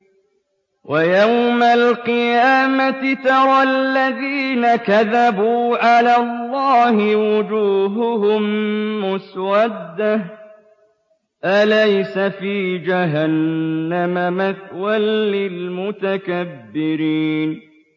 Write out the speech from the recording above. وَيَوْمَ الْقِيَامَةِ تَرَى الَّذِينَ كَذَبُوا عَلَى اللَّهِ وُجُوهُهُم مُّسْوَدَّةٌ ۚ أَلَيْسَ فِي جَهَنَّمَ مَثْوًى لِّلْمُتَكَبِّرِينَ